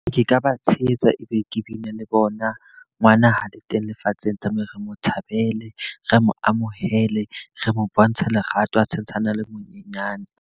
Ke ka ba tshehetsa e be ke bine le bona. Ngwana ha le teng lefatsheng tlameha re mo thabele, re mo amohele, re mo bontshe lerato a santshane a le monyenyane.